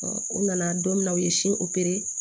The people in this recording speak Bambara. u nana don min na u ye